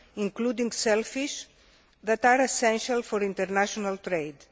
including shellfish, that are essential for international trade.